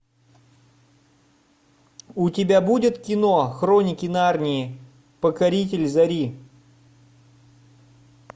у тебя будет кино хроники нарнии покоритель зари